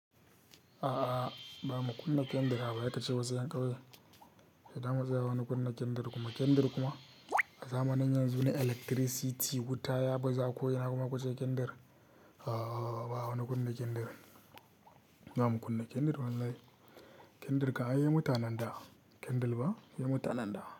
A'a, ba mu kunna kendir, haka ya tace wasu 'yan ƙauye. Da dama zai hana kunna kendir kuma kendir kuma a zamanin yanzu na electricity wuta ya bazu akwai yana kuma kashe kendir. A'a, ba mu kunna kendir. Ba mu kunna kendir wallahi. Kendir ka an yi wa mutanen da kendir ba? Yi wa mutanen da.